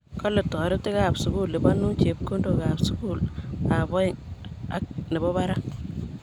Kale toritiik ab sukul lipanun chepkondok ab sukul ab aeng ang nebo barak